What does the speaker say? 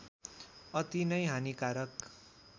अति नै हानिकारक